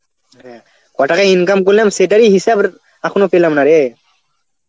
হ্যাঁ, ক টাকা income করলাম সেটারই হিসাব এখনো পেলাম না রে.